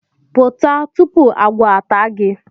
Pụta!, tupu agwọ ata gi